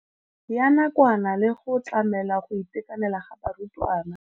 Ya nakwana le go tlamela go itekanela ga barutwana.